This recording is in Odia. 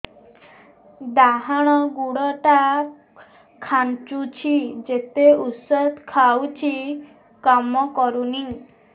ଡାହାଣ ଗୁଡ଼ ଟା ଖାନ୍ଚୁଚି ଯେତେ ଉଷ୍ଧ ଖାଉଛି କାମ କରୁନି